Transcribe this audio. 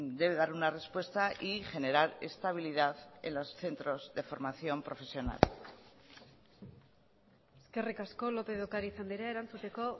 debe dar una respuesta y generar estabilidad en los centros de formación profesional eskerrik asko lópez de ocariz andrea erantzuteko